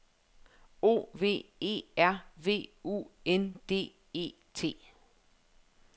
O V E R V U N D E T